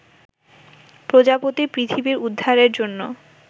প্রজাপতি পৃথিবীর উদ্ধারের জন্য